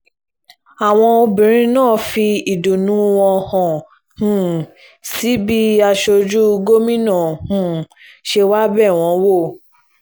àwọn obìnrin náà fi ìdùnnú wọn hàn um sí bí aṣojú gómìnà um ṣé wàá bẹ̀ wọ́n wò